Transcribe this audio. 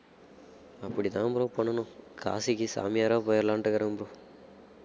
அப்படித்தான் bro பண்ணணும் காசிக்கு சாமியாரா போயிறலான்ட்டு இருக்கேன் bro